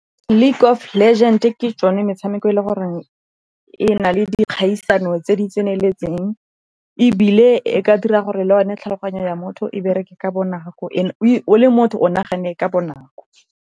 League of Legend ke tsone metshameko e le gore e na le dikgaisano tse di tseneletseng. Ebile e ka dira gore le yone tlhaloganyo ya motho e bereke ka bonako o le motho o nagane ka bonako.